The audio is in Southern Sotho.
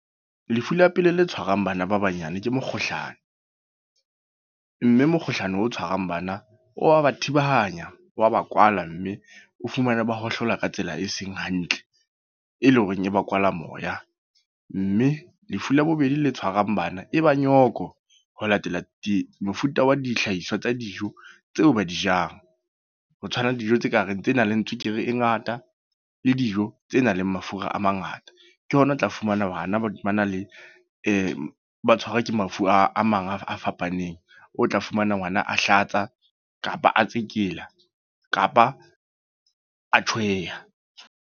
Lefu la pele le tshwarang bana ba banyane ke mekgohlano. Mme mekgohlano o tshwarang bana wa ba thibanyana, wa ba kwala. Mme o fumane ba hohlola ka tsela e seng hantle, e le ho reng e ba kwala moya. Mme lefu la bobedi le tshwarang bana, e ba nyoko. Ho latela di mofuta wa dihlahiswa tsa dijo tseo ba di jang. Ho tshwana le dijo tse ka reng tse nang le tswekere e ngata, le dijo tse nang le mafura a mangata. Ke hona o tla fumana bana ba na le e ba tshwarwa ke mafu a mang a fapaneng. O tla fumana ngwana a Hlatsa, kapa a tsekela, kapa a tjhweha.